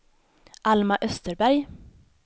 Alma Österberg